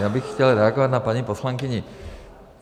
Já bych chtěl reagovat na paní poslankyni.